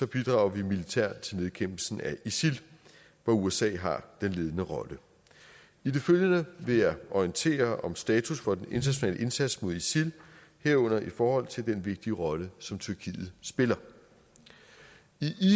bidrager vi militært til nedkæmpelsen af isil hvor usa har den ledende rolle i det følgende vil jeg orientere om status for den internationale indsats mod isil herunder i forhold til den vigtige rolle som tyrkiet spiller i